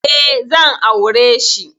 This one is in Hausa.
E, zan aure shi.